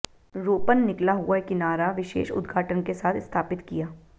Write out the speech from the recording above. रोपण निकला हुआ किनारा विशेष उद्घाटन के साथ स्थापित किया